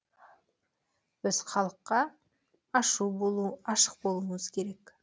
біз халыққа ашық болуымыз керек